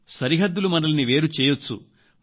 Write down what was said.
సరిహద్దులు మనల్ని వేరు చేయొచ్చు